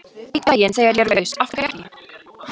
Einn daginn, þegar ég er laus, af hverju ekki?